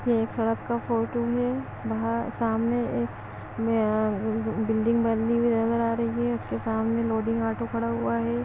ये एक सड़क का फोटो हे वह सामने एक यह ब-बिल्डिंग बनी हुई नजर आ रही हे उसके सामने लोडिंग ऑटो खड़ा हुआ हे।